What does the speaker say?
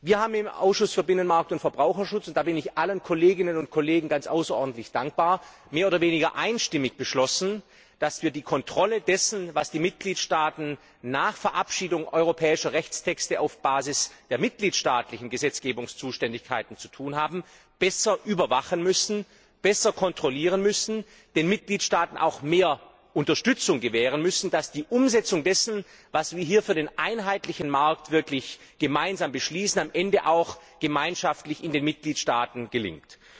Wir haben im Ausschuss für Binnenmarkt und Verbraucherschutz und dafür bin ich allen Kolleginnen und Kollegen außerordentlich dankbar mehr oder weniger einstimmig beschlossen, dass wir die Kontrolle dessen, was die Mitgliedstaaten nach Verabschiedung europäischer Rechtstexte auf Basis der mitgliedstaatlichen Gesetzgebungszuständigkeiten zu tun haben, besser überwachen müssen, besser kontrollieren müssen, den Mitgliedstaaten auch mehr Unterstützung gewähren müssen, damit die Umsetzung dessen, was wir hier für den einheitlichen Markt wirklich gemeinsam beschließen, am Ende auch gemeinschaftlich in den Mitgliedstaaten gelingt.